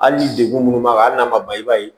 Hali ni degun minnu b'a kan hali n'a ma ban i b'a ye